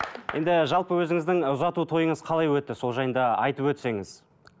енді жалпы өзіңіздің ұзату тойыңыз қалай өтті сол жайында айтып өтсеңіз